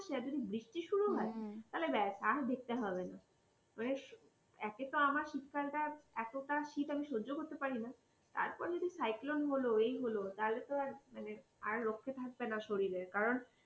আবার যদি বৃষ্টি শুরু হয় তাহলে ব্যাস আর দেখতে হবে না মানে একে তো আমার শীতকালটা এতটা শীত আমি সহ্য করতে পারি না তারপরে যদি cyclone হল এই হল তাহলে তো আর মানে আর রক্ষে থাকবে না শরীরের কারণ